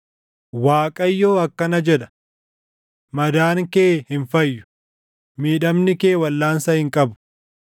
“ Waaqayyo akkana jedha: “ ‘Madaan kee hin fayyu; miidhamni kee waldhaansa hin qabu.